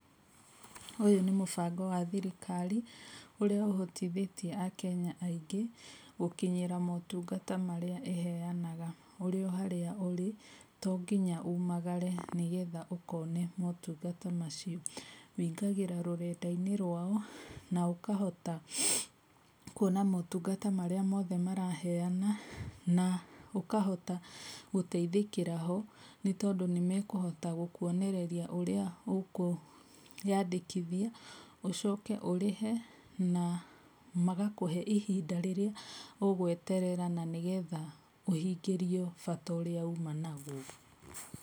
Ũyũ nĩ mũbango wa thirikari ũrĩa ũhotithĩtie akenya aingĩ, gũkinyĩra mũtungata marĩa ĩheanaga ũrĩ o harĩa ũrĩ, tũnginya umagarĩ nĩgetha ũkone mũtungata macio. Ũingagĩra rũrenda-inĩ rwao na ũkahota, kwona mũtungata marĩa mothe maraheana, na ũkahota, gũteithĩkĩra ho, nĩ tondũ nĩ mekũhota gũkwonerĩria ũrĩa ũkũĩyandĩkithia ũcoke ũrĩhĩ na, magakũhe ihinda rĩrĩa ũgweterera na nĩ getha ũhingĩrio bata ũria uma nagwo.